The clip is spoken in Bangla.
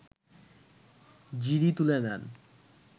জিডি তুলে নেন